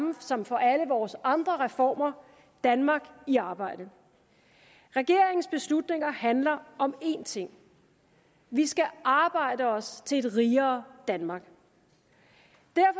som for alle vores andre reformer danmark i arbejde regeringens beslutninger handler om én ting vi skal arbejde os til et rigere danmark